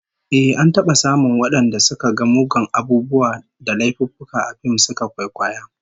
Ehh, an taba samun wadanda suka ga muggan abubuwa da laifuffuka a fim suka kwaikwaya